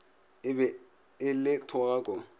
e be e le thogako